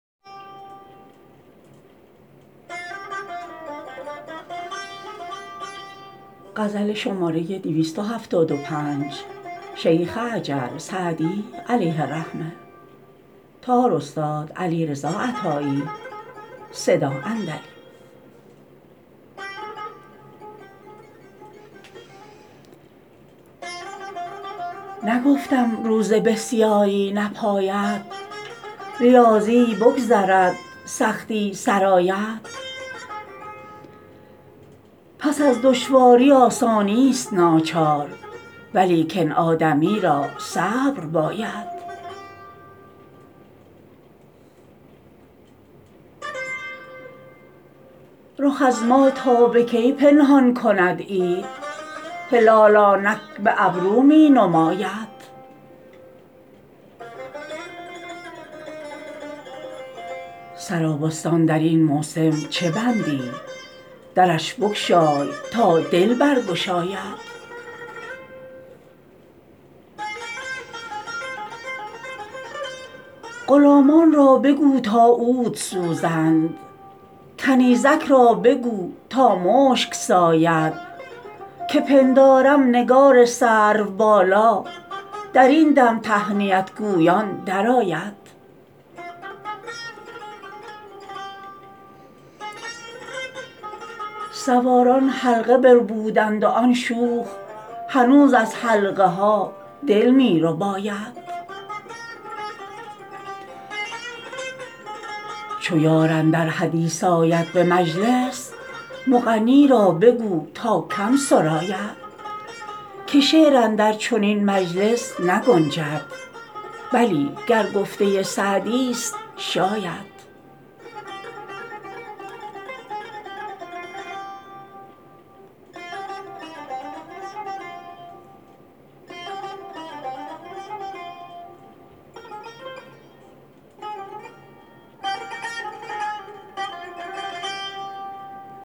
نگفتم روزه بسیاری نپاید ریاضت بگذرد سختی سر آید پس از دشواری آسانیست ناچار ولیکن آدمی را صبر باید رخ از ما تا به کی پنهان کند عید هلال آنک به ابرو می نماید سرابستان در این موسم چه بندی درش بگشای تا دل برگشاید غلامان را بگو تا عود سوزند کنیزک را بگو تا مشک ساید که پندارم نگار سروبالا در این دم تهنیت گویان درآید سواران حلقه بربودند و آن شوخ هنوز از حلقه ها دل می رباید چو یار اندر حدیث آید به مجلس مغنی را بگو تا کم سراید که شعر اندر چنین مجلس نگنجد بلی گر گفته سعدیست شاید